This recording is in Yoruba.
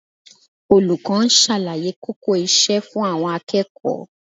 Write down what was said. Olùkọ́ ń ṣàlàyé kókó iṣẹ́ fún àwọn akẹ́kọ̀ọ́